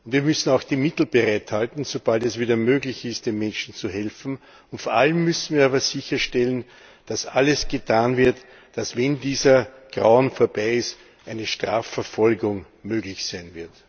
Wir müssen auch die Mittel bereithalten, um, sobald es wieder möglich ist, den Menschen zu helfen. Vor allem müssen wir aber sicherstellen, dass alles getan wird, dass, wenn dieses Grauen vorbei ist, eine Strafverfolgung möglich sein wird.